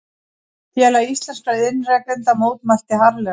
Félag íslenskra iðnrekenda mótmælti harðlega